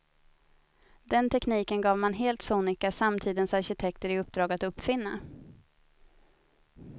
Den tekniken gav man helt sonika samtidens arkitekter i uppdrag att uppfinna.